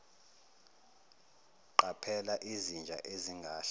qaphela izinja ezingahle